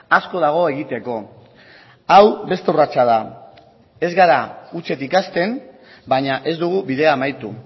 asko dago egiteko hau beste urratsa da ez gara hutsetik hasten baina ez dugu bidea amaitu